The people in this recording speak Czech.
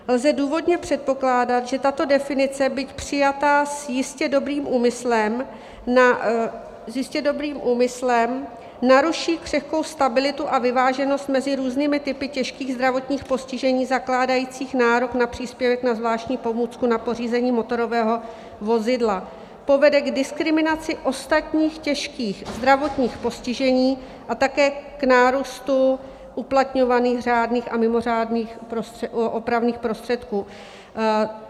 Lze důvodně předpokládat, že tato definice, byť přijatá s jistě dobrým úmyslem, naruší křehkou stabilitu a vyváženost mezi různými typy těžkých zdravotních postižení zakládajících nárok na příspěvek na zvláštní pomůcku na pořízení motorového vozidla, povede k diskriminaci ostatních těžkých zdravotních postižení a také k nárůstu uplatňovaných řádných a mimořádných opravných prostředků.